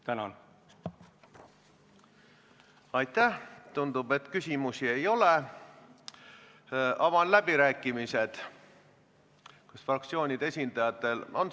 Hääletustulemused Katkestamise poolt oli 31 saadikut ja vastu 49, erapooletuid ei olnud.